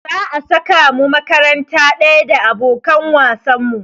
Za a saka mu makaranta ɗaya da abokan wasan mu.